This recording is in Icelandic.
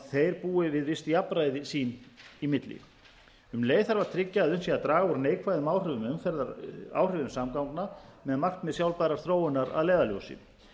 þeir búi við visst jafnræði sín í milli um leið þarf að tryggja að unnt sé að draga neikvæðum áhrifum samgangna með markmið sjálfbærrar þróunar að leiðarljósi